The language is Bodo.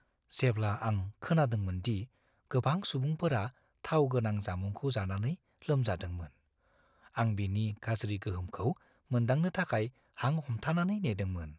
जेब्ला आं खोनादोंमोन दि गोबां सुबुंफोरा थाव गोनां जामुंखौ जानानै लोमजादोंमोन, आं बिनि गाज्रि गोहोमखौ मोनदांनो थाखाय हां हमथानानै नेदोंमोन।